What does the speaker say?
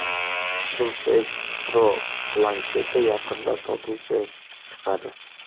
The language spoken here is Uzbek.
Surface Pro plansheti yaqinda sotuvga chiqadi.